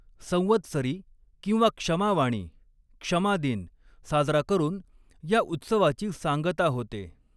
संवत्सरी किंवा क्षमावाणी क्षमा दिन साजरा करून या उत्सवाची सांगता होते.